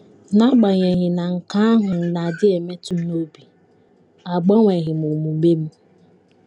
N’agbanyeghị na nke ahụ na - adị emetụ m n’obi, agbanweghị m omume m.